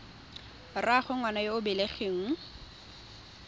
rraagwe ngwana yo o belegweng